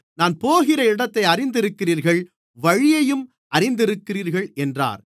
நான் போகிற இடத்தை அறிந்திருக்கிறீர்கள் வழியையும் அறிந்திருக்கிறீர்கள் என்றார்